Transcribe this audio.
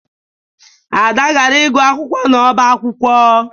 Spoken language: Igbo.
Ada gara ịgụ akwụkwọ n'ọbá akwụkwọ